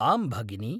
आम्, भगिनी।